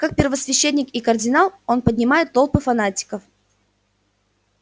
как первосвященник и кардинал он поднимает толпы фанатиков